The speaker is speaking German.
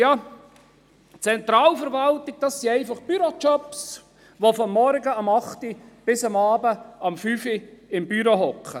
Ja, Zentralverwaltung, das sind einfach Bürojobs, bei denen man von morgens ab 8 Uhr bis abends um 17 Uhr im Büro sitzt.